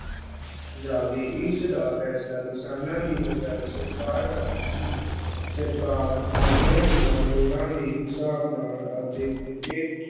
ਜਾਵੇ ਇਸਦਾ ਫੈਸਲਾ ਕਿਸਾਨਾਂ ਦੀ ਬਜਾਏ ਸਰਕਾਰ ਕਰਦੀ ਸੀ, ਸਰਕਾਰ ਮਾਲਿਆ ਦੀਆਂ ਲੋੜਾਂ ਦੇ ਹਿਸਾਬ ਨਾਲ ਅਤੇ